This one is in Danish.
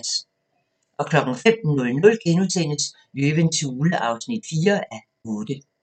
05:00: Løvens hule (4:8)*